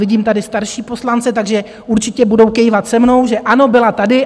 Vidím tady starší poslance, takže určitě budou kývat se mnou, že ano, byla tady.